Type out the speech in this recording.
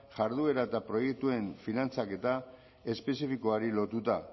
jarduera eta proiektuen finantzaketa espezifikoari lotuta